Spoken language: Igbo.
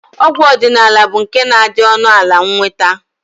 Ọgwụ ọdịnala bụ nke na-adị ọnụala nnweta